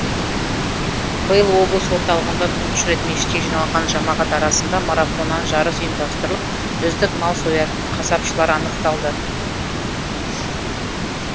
биыл облыс орталығында тұңғыш рет мешітке жиналған жамағат арасында марафоннан жарыс ұйымдастырылып үздік мал соятын қасапшылар анықталды